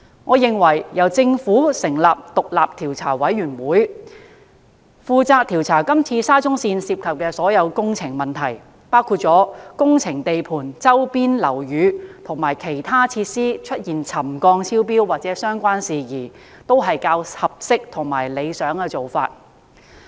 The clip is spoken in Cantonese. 我認為由政府成立獨立調查委員會，負責調查是次沙中線涉及的所有工程問題，包括工程地盤周邊樓宇及其他設施出現沉降超標或相關事宜，是較合適和理想的做法。